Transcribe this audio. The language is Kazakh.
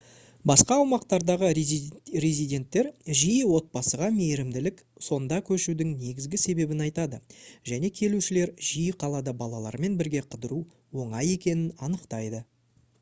басқа аумақтардағы резиденттер жиі отбасыға мейірімділік сонда көшудің негізгі себебін айтады және келушілер жиі қалада балалармен бірге қыдыру оңай екенін анықтайды